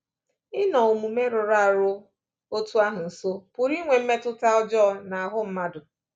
Ịnọ omume rụrụ arụ otú ahụ nso pụrụ inwe mmetụta ọjọọ n’ahụ́ mmadụ.